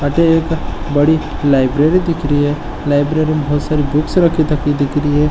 अठे एक बड़ी लाइब्रेरी दिख री है लाइब्रेरी में बोहोत सारी बुक्स रखी तकी दिख री है।